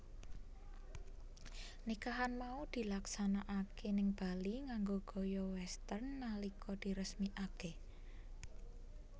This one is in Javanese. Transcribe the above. Nikahan mau dilaksanakaké ning Bali nganggo gaya Western nalika diresmikaké